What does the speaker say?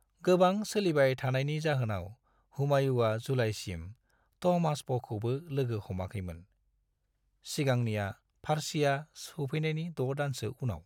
गोबां सोलिबाय थानायनि जाहोनाव, हुमायूंआ जुलाइसिम तहमास्पखौबो लोगो हमाखैमोन, सिगांनिया फारसिया सौफैनायनि द' दानसो उनाव।